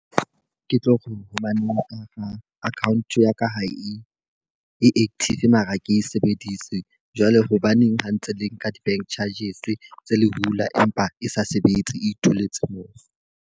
Ke tlo re hobaneng account ya ka ha e e active mara ke e sebedise. Jwale hobaneng ha ntse le nka di-bank charges tse le hula empa e sa sebetse, e itholetse moo.